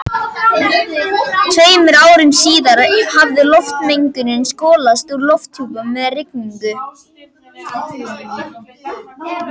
Tveimur árum síðar hafði loftmengunin skolast úr lofthjúpnum með rigningu.